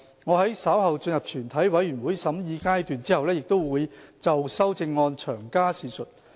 我在稍後進入全體委員會審議階段後，會就修正案詳加闡述。